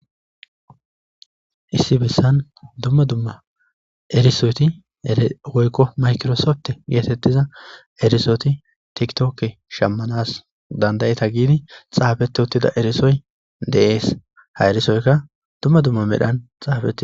Issi bessan dumma dumma erisoti woykko makirosopte geetettiza erisooti tiktokke shammanas dandayeta giidi xaabete uttida erisoy deees ha erisoyka dumma dumma medhan xaafete.